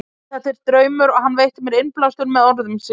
Þetta er draumur og hann veitti mér innblástur með orðum sínum.